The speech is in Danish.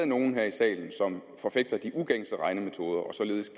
nogle i salen som forfægter de ugængse regnemetoder og således